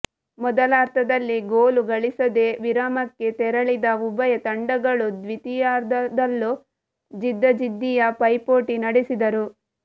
ಮೊದಲಾರ್ಧದಲ್ಲಿ goal ಗಳಿಸದೆ ವಿರಾಮಕ್ಕೆ ತೆರಳಿದ ಉಭಯ ತಂಡಗಳು ದ್ವಿತೀಯಾರ್ಧದಲ್ಲೂ ಜಿದ್ದಾಜಿದ್ದಿಯ ಪೈಪೋಟಿ ನಡೆಸಿದರು